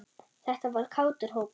Þetta var kátur hópur.